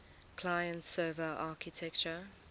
client server architecture